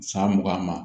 San mugan ma